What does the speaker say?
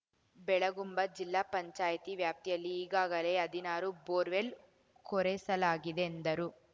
ಬೆಳಗುಂಬ ಜಿಲ್ಲಾ ಪಂಚಾಯ್ತಿ ವ್ಯಾಪ್ತಿಯಲ್ಲಿ ಈಗಾಗಲೇ ಹದಿನಾರು ಬೋರ್‌ವೆಲ್ ಕೊರೆಸಲಾಗಿದೆ ಎಂದರು